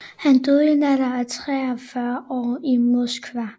Han døde i en alder af 43 år i Moskva